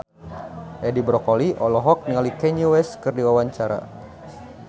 Edi Brokoli olohok ningali Kanye West keur diwawancara